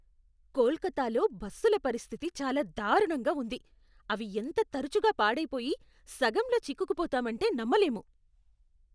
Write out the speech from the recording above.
కోల్కతాలో బస్సుల పరిస్థితి చాలా దారుణంగా ఉంది! అవి ఎంత తరచుగా పాడైపోయి, సగంలో చిక్కుకుపోతామంటే నమ్మలేము.